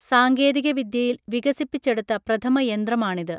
സാങ്കേതിക വിദ്യയിൽ വികസിപ്പിച്ചെടുത്ത പ്രഥമ യന്ത്രമാണിത്